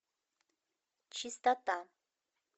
чистота